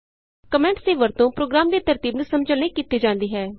comments ਦੀ ਵਰਤੋਂ programme ਦੀ ਤਰਤੀਬ ਨੂੰ ਸਮਝਣ ਲਈ ਕੀਤੀ ਜਾਂਦੀ ਹੈ